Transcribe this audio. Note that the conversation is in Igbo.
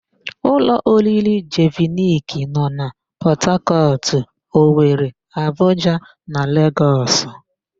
Ụlọ oriri Jeviniki nọ na Pọtakọtụ, Owere, Abuja na Legọs.